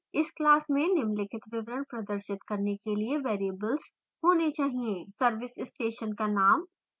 इस class में निम्नलिखित विवरण प्रदर्शित करने के लिए variables होने चाहिए